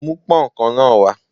Mú pón kan náà wá.